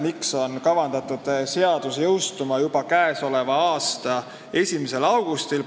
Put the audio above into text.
Miks on seadus kavandatud jõustuma juba k.a 1. augustil?